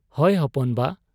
ᱼᱼᱼᱦᱚᱭ ᱦᱚᱯᱚᱱ ᱵᱟ !